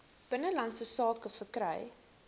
binnelandse sake verkry